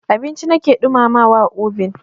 Abinci na ke ɗumamawa a obin.